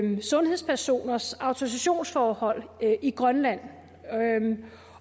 sundhedspersoners autorisationsforhold i grønland